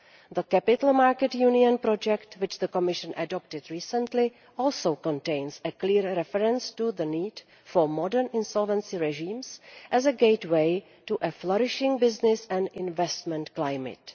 The Capital Markets Union project, which the Commission adopted recently, also contains a clear reference to the need for modern insolvency regimes as a gateway to a flourishing business and investment climate.